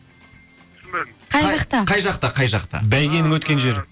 түсінбедім қай жақта қай жақта қай жақта а бәйгенің өткен жері